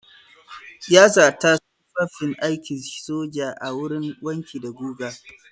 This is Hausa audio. Ya zata tufafin aikin soja a wurin wanki da guga.